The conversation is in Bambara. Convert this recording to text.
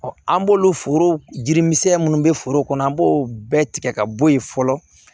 an b'olu foro jiri misɛn munnu bɛ foro kɔnɔ an b'o bɛɛ tigɛ ka bɔ yen fɔlɔ